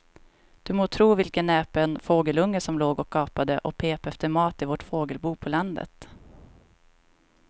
Du må tro vilken näpen fågelunge som låg och gapade och pep efter mat i vårt fågelbo på landet.